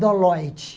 Do Lloyd.